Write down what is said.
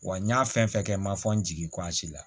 Wa n ɲa fɛn fɛn kɛ n ma fɔ n jigin la